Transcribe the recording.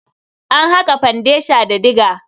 An haƙa fandesha da diga.